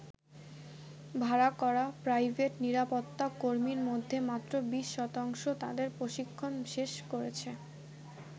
ভাড়া করা প্রাইভেট নিরাপত্তা কর্মীর মধ্যে মাত্র ২০ শতাংশ তাদের প্রশিক্ষণ শেষ করেছে।